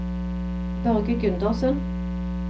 Børge Gundersen